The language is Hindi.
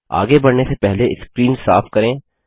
आगे बढ़ने से पहले स्क्रीन साफ करें